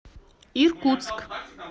иркутск